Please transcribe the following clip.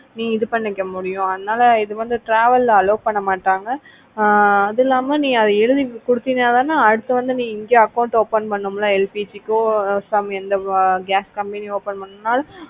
நீ இது பண்ணிக்க முடியும் அதனால இத வந்து travel allow பண்ண மாட்டாங்க. ஆஹ் அதும் இல்லாம நீ அதை எழுதி கொடுத்தனா தானே இப்ப வந்து நீ இங்க account open பண்ண முடியும் LPG கோ some எந்த gas company open பணம்னாலும்